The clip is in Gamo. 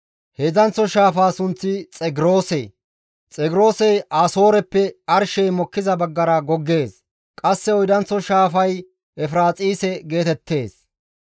Heedzdzanththo shaafaa sunththi Xegroose; Xegroosey Asooreppe arshey mokkiza baggara goggees; qasse oydanththo shaafay Efiraaxise geetettees.